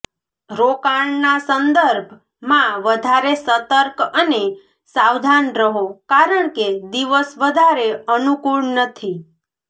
રોકાણ ના સંદર્ભ માં વધારે સતર્ક અને સાવધાન રહો કારણકે દિવસ વધારે અનુકુળ નથી